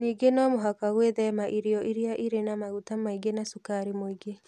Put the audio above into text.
Ningĩ nĩ mũhaka gwĩthema irio iria irĩ na maguta maingĩ na cukari mũingĩ.